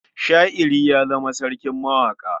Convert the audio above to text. Sha'iri ya zama sarkin mawaƙa.